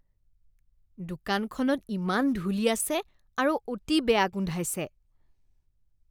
দোকানখনত ইমান ধূলি আছে আৰু অতি বেয়া গোন্ধাইছে।